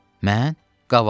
Mən, qavalçı.